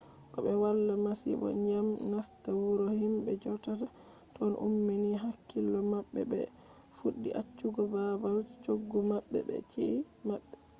ko be wala masibo dyam nasta wuro himbe jodata ton ummini hakkilo mabbe bo be fuddi accugo babal choggu mabbe be chi’eji mabbe